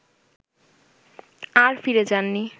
আর ফিরে যাননি